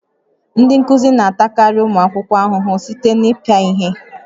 Ndị nkuzi na-atakarị ụmụ akwụkwọ ahụhụ site na ịpịa ihe